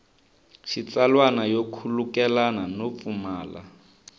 xitsalwana yo khulukelana no pfumala